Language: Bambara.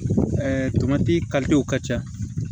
tomati ka ca